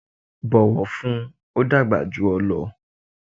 bọ̀wọ̀ fún un! ó dàgbà jù ọ lọ.